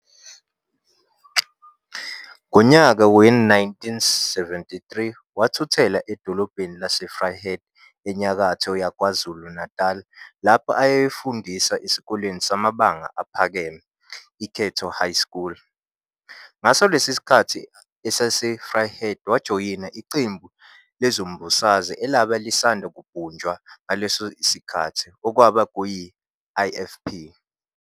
Ngonyaka we-1973 wathuthela edolobheni lase-Vryheid eNyakatho yakwaZulu Natali lapho ayeyofundisa esikoleni samabanga aphakeme "Ikhethelo High School". Ngaso lesi sikhathi eseseVryheid wajoyina iqembu lezombusazwe elabe lisanda kubunjwa ngaleso sikhathi okwabe kuyi-IFP.